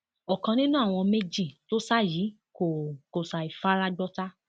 ọkan nínú àwọn méjì tó sá yìí kò kò ṣàì fara gbọta